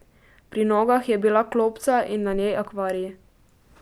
Pri nogah je bila klopca in na njej akvarij.